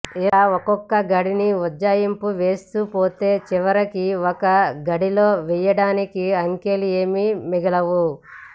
ఇలా ఒకొక్క గడిని ఉజ్జాయింపు వేస్తూ పోతే చివరికి ఒక గడిలో వెయ్యడానికి అంకెలు ఏమీ మిగలవు